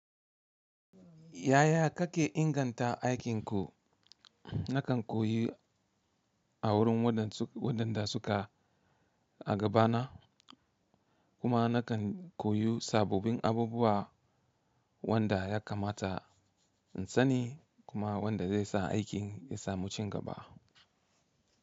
Yaya kake inganta aikinku? Nakan koyi a wurin wadanda suka a gabana, kuma nakan koyi sabobin abubuwa wanda ya kamata in sani kuma wanda zai sa aikin ya samu cingaba.